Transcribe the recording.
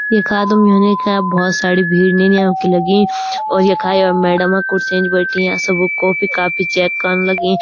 यखा तुम देखा बहौत सारी भीड़ निन्याओ की लगी और यखा य मैडम कुर्सी म बैठी या सबु कॉपी -कापी चेक कण लगीं।